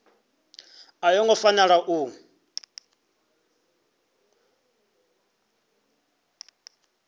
a yo ngo fanela u